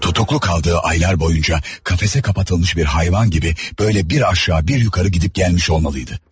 Tutulu qaldığı aylar ərzində qəfəsə salınmış bir heyvan kimi belə aşağı-yuxarı hərəkət etmiş olmalı idi.